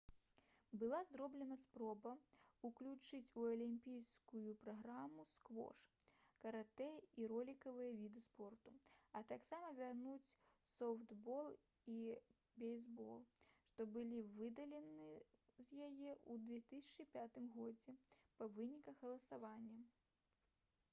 была зроблена спроба ўключыць у алімпійскую праграму сквош каратэ і ролікавыя віды спорту а таксама вярнуць софтбол і бейсбол што былі выдалены з яе ў 2005 годзе па выніках галасавання